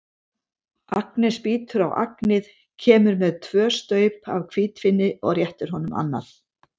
Agnes bítur á agnið, kemur með tvö staup af hvítvíni og réttir honum annað.